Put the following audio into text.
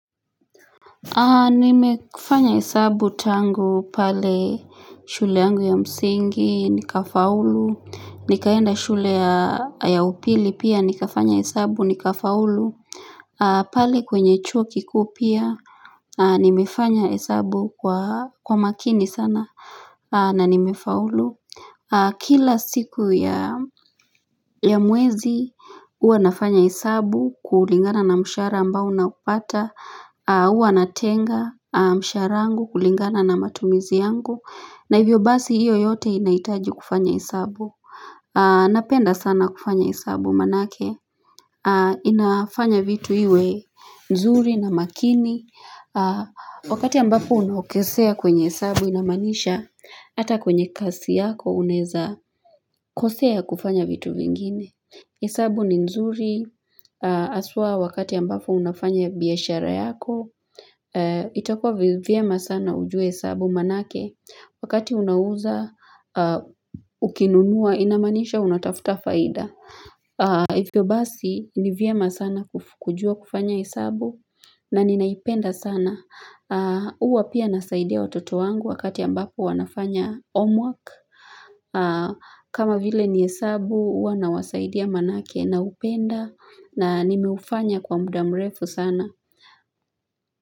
Nimefanya hesabu tangu pale shule yangu ya msingi nikafaulu Nikaenda shule ya upili pia nikafanya hesabu nikafaulu pale kwenye chuo kiku pia nimefanya hesabu kwa makini sana na nimefaulu Kila siku ya mwezi uanafanya hesabu kuulingana na mshara ambao naupata uwa natenga msharangu kulingana na matumizi yangu na hivyo basi iyo yote inaitaji kufanya esabu napenda sana kufanya esabu manake inafanya vitu iwe nzuri na makini wakati ambapo unahokesea kwenye esabu inamanisha ata kwenye kasi yako uneza kosea kufanya vitu vingine esabu ni nzuri asua wakati ambapo unafanya biyashara yako itakua viema sana ujue sabu manake wakati unauza ukinunua inamanisha unatafuta faida ifyo basi ni viema sana kujua kufanya hesabu na ninaipenda sana uwa pia nasaidia watoto wangu wakati ambapo wanafanya homework kama vile ni esabu uwa nawasaidia manake naupenda na nimeufanya kwa mudamrefu sana.